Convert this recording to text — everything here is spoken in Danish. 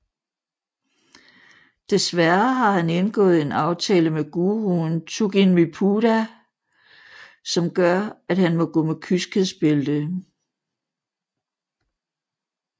Dessværre har han indgået en aftale med guruen Tugginmypudha som gør at han må gå med kyskhedsbælte